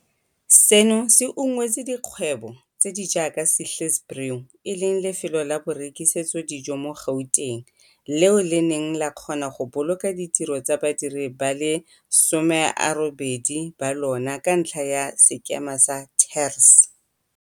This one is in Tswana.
Seno se ungwetse dikgwebo tse di jaaka Sihle's Brew, e leng lefelo la borekisetso dijo mo Gauteng, leo le neng la kgona go boloka ditiro tsa badiri ba le 18 ba lona ka ntlha ya sekema sa TERS.